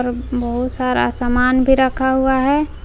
अह बहुत सारा सामान भी रखा हुआ है।